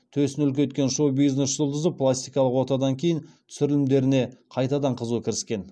төсін үлкейткен шоу бизнес жұлдызы пластикалық отадан кейін түсірілімдеріне қайтадан қызу кіріскен